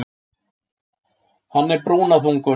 Hann er brúnaþungur.